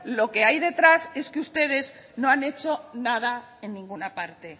lo que hay detrás es que ustedes no han hecho nada en ninguna parte